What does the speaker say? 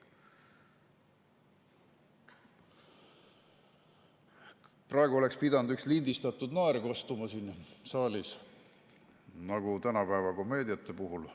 Praegu oleks pidanud üks lindistatud naer kostma siin saalis nagu tänapäeva komöödiate puhul.